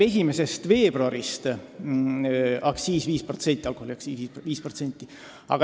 1. veebruarist tõuseb meil alkoholiaktsiis 5%.